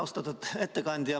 Austatud ettekandja!